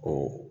O